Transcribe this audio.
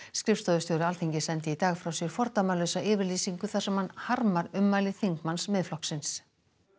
skrifstofustjóri Alþingis sendi í dag frá sér fordæmalausa yfirlýsingu þar sem hann harmar ummæli þingmanns Miðflokksins